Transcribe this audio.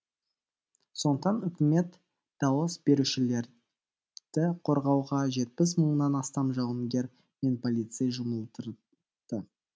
сондықтан үкімет дауыс берушілерді қорғауға жетпіс мыңнан астам жауынгер мен полицей жұмылдырды